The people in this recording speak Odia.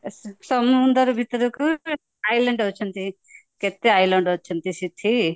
ସମୁଦ୍ର ଭିତରକୁ island ଅଛନ୍ତି କେତେ island ଅଛନ୍ତି ସେଠି